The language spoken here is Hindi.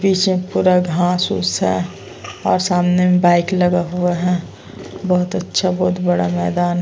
पीछे पूरा घास-घुस है और सामने में बाइक लगा हुआ है बहौत अच्छा बहौत बड़ा मैदान --